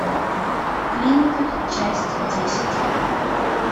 клиника часть десять